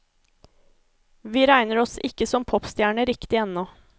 Vi regner oss ikke som popstjerner riktig ennå.